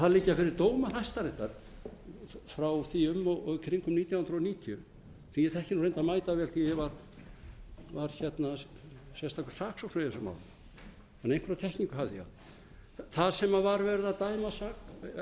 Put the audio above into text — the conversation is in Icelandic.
það liggja fyrir dómar hæstaréttar frá því um og í kringum nítján hundruð níutíu sem ég þekki reyndar mætavel því að ég var sérstakur saksóknari í þessum málum þannig að einhverja þekkingu hafði ég þar sem var verið að